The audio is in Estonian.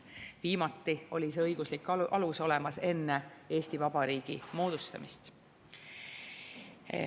Viimati oli see õiguslik alus olemas enne Eesti Vabariigi moodustamist.